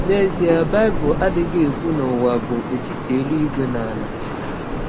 N’ezie Bible adịghị ekwụ na ụwa bụ etiti elụigwe na ala.